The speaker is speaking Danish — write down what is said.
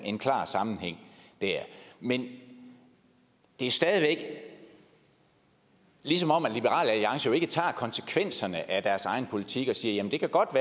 en klar sammenhæng der men det er stadig væk som om at liberal alliance jo ikke tager konsekvenserne af deres egen politik og siger at det godt